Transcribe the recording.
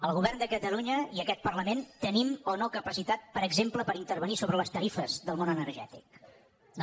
el govern de catalunya i aquest parlament tenim o no capacitat per exemple per intervenir sobre les tarifes del món energètic no